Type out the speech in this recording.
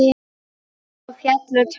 Svo féllu tár.